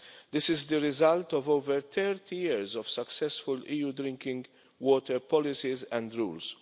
This is the result of over thirty years of successful EU drinking water policies and rules.